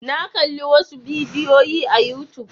Na kalli wasu bidiyoyi a youtube.